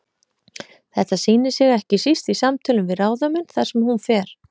Þetta sýnir sig ekki síst í samtölum við ráðamenn þar sem hún fer.